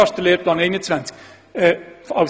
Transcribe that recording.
Das ist der Lehrplan 21.